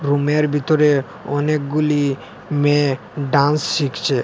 রুমের ভিতরে অনেকগুলি মেয়ে ডান্স শিখছে।